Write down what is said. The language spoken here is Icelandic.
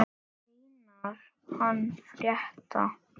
Einar hann frétta.